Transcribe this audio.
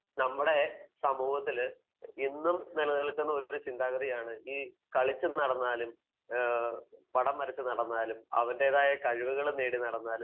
നമ്മുടെ സമൂഹത്തിൽ ഇന്നും നിലനിൽക്കുന്ന ചിന്താഗതിയാണ് കളിച്ചും നടന്നാലും പടം വരച്ചു നടന്നാലും അവന്റേതായ കഴിവുകൾ നേടി നടന്നാലും